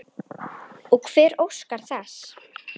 Og hver óskar þess?